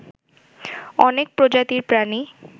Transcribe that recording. অনেক প্রজাতির প্রাণী